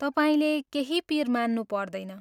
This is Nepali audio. तपाईँले केही पिर मान्नु पर्दैन।